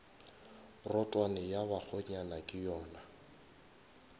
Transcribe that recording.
rotwane ya bakgonyana ke yona